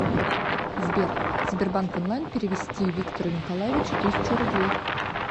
сбер сбербанк онлайн перевести виктору николаевичу тысячу рублей